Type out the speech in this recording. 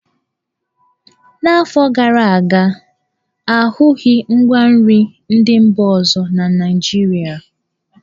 N'afọ gara aga, a hụghị ngwa nri ndị mba ọzọ na Naịjirịa.